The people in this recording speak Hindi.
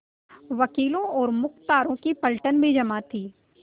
वकीलों और मुख्तारों की पलटन भी जमा थी